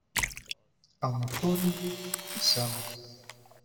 анатолий исянов